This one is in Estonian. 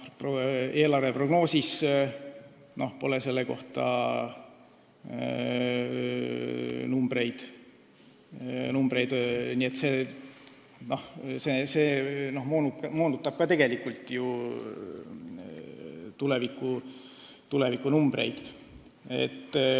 Eelarveprognoosis pole selle kohta numbreid ja see moonutab ka tulevikunumbreid.